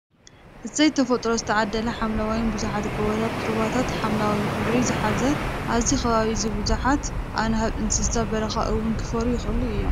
እሰይ ተፈጥሮ ዝተዓደለ ሓምለዋይን ብዙሓት ጎባታትን ሩባት ሓምለዋይ ሕብሪ ዝሓዘ ኣብዚ ከባቢ እዚ ብዙሓት ኣናህብን እንስሳ በራኻ ክውን ክፈርዩ ይክእሉ እዮም።